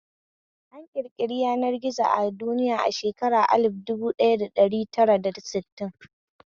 An ƙirƙiri yanar gizo a duniya a shekarun alif dubu ɗaya da ɗari tara da sittin